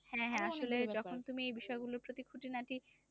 হ্যাঁ হ্যাঁ আসলে যখন তুমি এই বিষয়গুলোর প্রতি খুঁটিনাটি